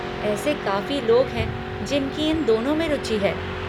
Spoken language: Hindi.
ऐसे काफ़ी लोग हैं जिनकी इन दोनों में रुचि है।